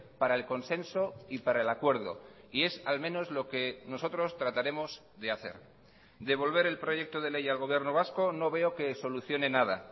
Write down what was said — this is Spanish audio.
para el consenso y para el acuerdo y es al menos lo que nosotros trataremos de hacer devolver el proyecto de ley al gobierno vasco no veo que solucione nada